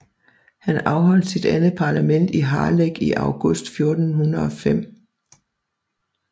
Han afholdt sit andet parlament i Harlech i august 1405